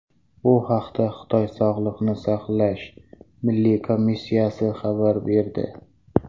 Bu haqda Xitoy Sog‘liqni saqlash milliy komissiyasi xabar berdi .